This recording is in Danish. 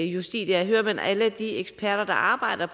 justitia hører man alle de eksperter der arbejder